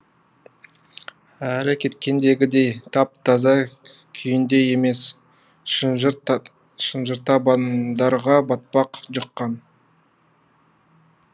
әрі кеткендегідей тап таза күйінде емес шынжыр табандарға батпақ жұққан